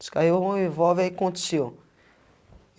Descarregou um revolver, aí aconteceu.